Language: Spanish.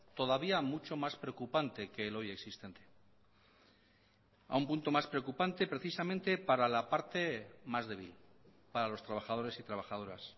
todavía mucho más preocupante que el hoy existente a un punto más preocupante precisamente para la parte más débil para los trabajadores y trabajadoras